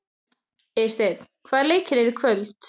Eysteinn, hvaða leikir eru í kvöld?